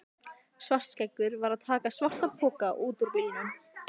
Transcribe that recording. Svartskeggur var að taka svartan poka út úr bílnum.